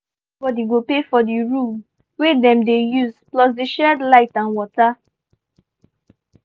we gree say everybody go pay for di room wey dem dey use plus di shared light and water.